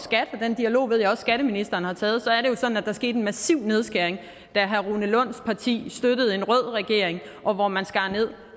den dialog ved jeg også at skatteministeren har taget så er det jo sådan at der skete en massiv nedskæring da herre rune lunds parti støttede en rød regering og hvor man skar nederst